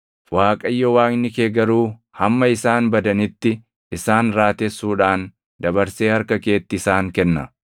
Waaqayyo Waaqni kee garuu hamma isaan badanitti isaan raatessuudhaan dabarsee harka keetti isaan kenna.